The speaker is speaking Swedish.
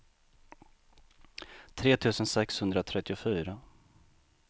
tre tusen sexhundratrettiofyra